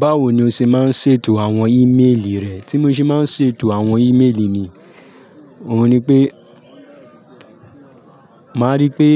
Báwo ni o ṣe máa ń ṣètò àwọn ímeèlì rẹ? Tí mo ṣe máa ń ṣètò àwọn ímeèlì mi, òun ni pé, màá rí pé